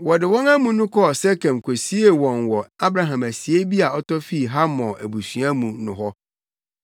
Wɔde wɔn amu no kɔɔ Sekem kosiee wɔn wɔ Abraham asiei bi a ɔtɔ fii Hamor abusua mu no hɔ.